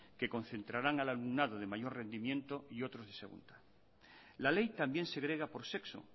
que concentran al alumnado de mayor rendimiento y otro de segunda la ley también segrega por sexo